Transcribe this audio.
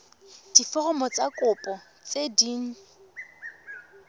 diforomo tsa kopo tse dint